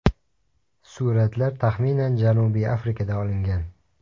Suratlar, taxminan Janubiy Afrikada olingan.